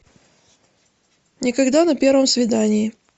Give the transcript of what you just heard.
никогда на первом свидании